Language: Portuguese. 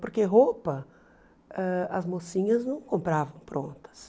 Porque roupa, ãh as mocinhas não compravam prontas.